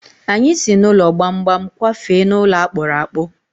Anyị si n'ụlọ gbamgbam kwafee n'ụlọ akpụrụ akpụ.